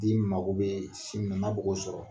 yiri mago bɛ si min na , n'a b'o sɔrɔ